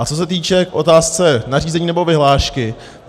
A co se týče otázky nařízení nebo vyhlášky.